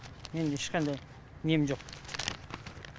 мен ешқандай нем жоқ